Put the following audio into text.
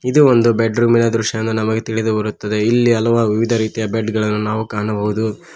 ಇದು ಒಂದು ಬೆಡ್ರೂಮ್ ನ ದೃಶ್ಯ ಎಂದು ನಮಗೆ ತಿಳಿದು ಬರುತ್ತದೆ ಇಲ್ಲಿ ಹಲವಾರು ಬೆಡ್ ಗಳನ್ನೂ ನಾವು ಕಾಣಬಹುದು.